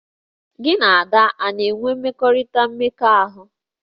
Gị na Ada a na-enwe mmekọrịta mmekọahụ?